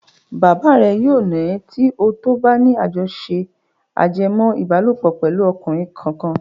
Bàbá rẹ yóò nà ẹ́ tí ó tó bá ní àtẹ̀jíṣẹ́ ajẹmọ́-ìbálòpọ̀ pẹ̀lú ọkùnrin kankan.